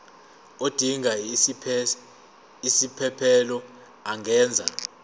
odinga isiphesphelo angenza